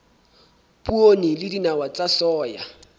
poone le dinawa tsa soya